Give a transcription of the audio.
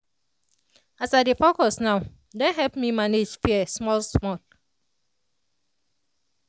as i dey focus now don help me manage fear small small.